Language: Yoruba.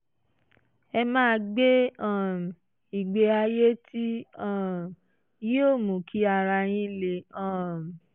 ẹ máa gbé um ìgbé ayé tí um yóò mú kí ara yín le um